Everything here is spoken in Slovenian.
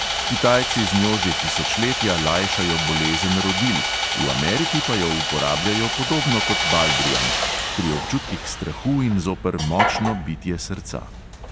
Kitajci z njo že tisočletja lajšajo bolezen rodil, v ameriki pa jo uporabljajo podobno kot baldrijan – pri občutkih strahu in zoper močno bitje srca.